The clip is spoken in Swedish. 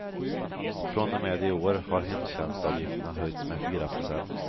Från och med i år har hemtjänstavgifterna höjts med fyra procent.